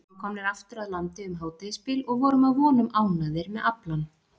Við vorum komnir aftur að landi um hádegisbil og vorum að vonum ánægðir með aflann.